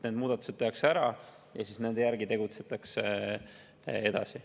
Need muudatused tehakse ära ja siis nende järgi tegutsetakse edasi.